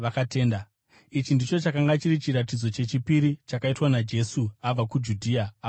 Ichi ndicho chakanga chiri chiratidzo chechipiri chakaitwa naJesu, abva kuJudhea ava kuGarirea.